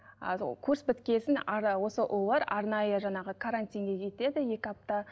курс біткесін осы ұлулар арнайы жаңағы карантинге кетеді екі апта